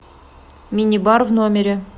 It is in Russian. мини бар в номере